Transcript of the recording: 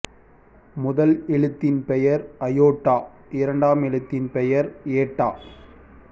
முதல் எழுத்தின் பெயர் அயோட்டா இரண்டாம் எழுத்தின் பெயர் ஏட்டா